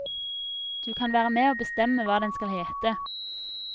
Du kan være med å bestemme hva den skal hete.